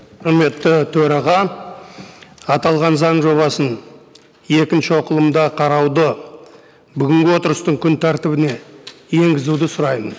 құрметті төраға аталған заң жобасын екінші оқылымда қарауды бүгінгі отырыстың күн тәртібіне енгізуді сұраймын